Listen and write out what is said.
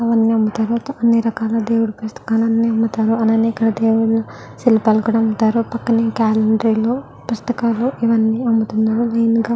దేవుడి పుస్తకాలు అన్నీ అమ్ముతారు. అలాగే ఇక్కడ దేవుడి శిల్పాలు కూడా అమ్ముతారు. పక్కనే గేలరీ లో పుస్తకాలు ఇవన్నీ అమ్ముతున్నారు.